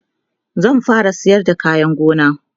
zan fara sayar da kayan gona